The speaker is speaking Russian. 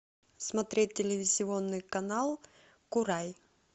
смотреть телевизионный канал курай